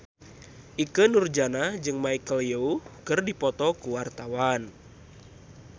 Ikke Nurjanah jeung Michelle Yeoh keur dipoto ku wartawan